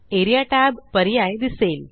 A R E A tab पर्याय दिसेल